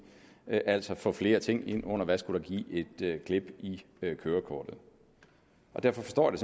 altså få flere ting ind under hvad der skulle give et klip i kørekortet derfor forstår jeg